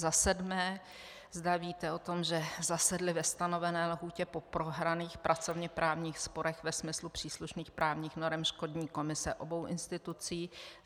Za sedmé, zda víte o tom, že zasedly ve stanovené lhůtě po prohraných pracovněprávních sporech ve smyslu příslušných právních norem škodní komise obou institucí.